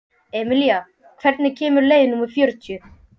Emilía, hvenær kemur leið númer fjörutíu?